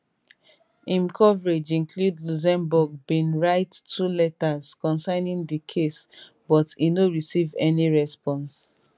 im coverage include luxembourg bin write two letters concerning di case but e no receive any response